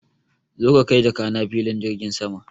Zo ka kai jakana filin jirgin sama!